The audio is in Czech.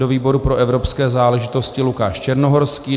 Do výboru pro evropské záležitosti Lukáš Černohorský.